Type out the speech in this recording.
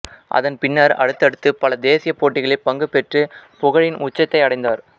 அதன் பின்னர் அடுத்தடுத்து பல தேசிய போட்டிகளில் பங்கு பெற்று புகழின் உச்சத்தை அடைந்தார்